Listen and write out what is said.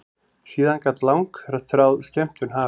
Síðan gat langþráð skemmtun hafist.